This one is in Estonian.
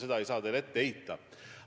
Seda ei saa teile ette heita.